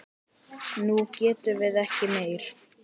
Nú getum við ekki meir.